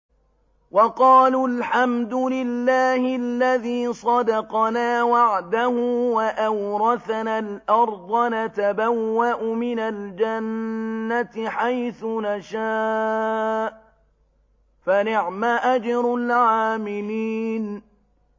وَقَالُوا الْحَمْدُ لِلَّهِ الَّذِي صَدَقَنَا وَعْدَهُ وَأَوْرَثَنَا الْأَرْضَ نَتَبَوَّأُ مِنَ الْجَنَّةِ حَيْثُ نَشَاءُ ۖ فَنِعْمَ أَجْرُ الْعَامِلِينَ